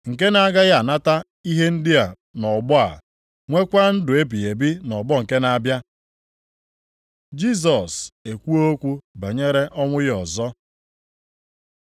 nke na-agaghị anata ihe ndị a nʼọgbọ a, nwekwa ndụ ebighị ebi nʼọgbọ nke na-abịa.” Jisọs ekwuo okwu banyere ọnwụ ya ọzọ